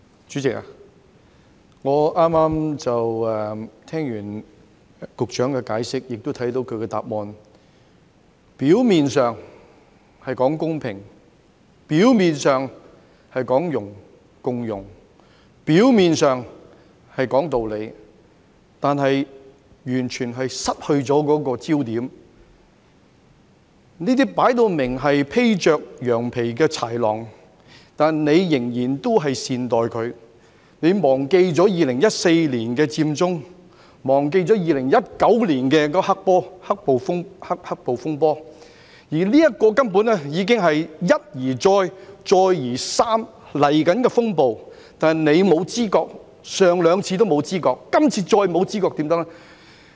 主席，我剛才聽完局長的解釋，亦看到其主體答覆，表面上是說公平、表面上是說共融、表面上是說道理，但完全失去了焦點，這些分明是披着羊皮的豺狼，但他仍然善待他們，他忘記了2014年的佔中、忘記了2019年的"黑暴風波"，這根本是一而再、再而三即將來到的風暴，但他沒有知覺，上兩次已經沒有知覺，今次怎能夠再沒有知覺呢？